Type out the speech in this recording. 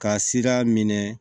Ka sira minɛ